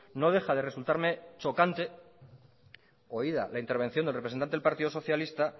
no deja de resultarme chocante oída la intervención del representante del partido socialista